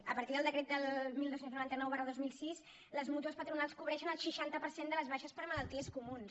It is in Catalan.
a partir del decret dotze noranta nou dos mil sis les mútues patronals cobreixen el seixanta per cent de les baixes per malalties comunes